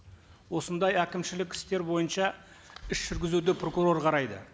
осындай әкімшілік істер бойынша іс жүргізуді прокурор қарайды